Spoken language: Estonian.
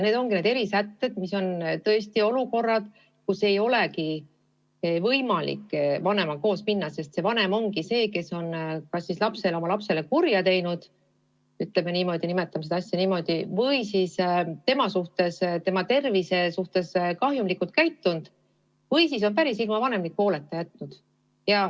Need on erisätted, need on olukorrad, kui ei olegi võimalik koos vanemaga minna, sest vanem ongi see, kes on lapsele kurja teinud, nimetame seda asja niimoodi, või tema tervist kahjustanud või siis lapse päris ilma vanemliku hooleta jätnud.